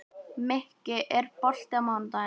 Mikki, er bolti á mánudaginn?